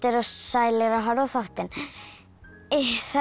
sælir að horfa á þáttinn það er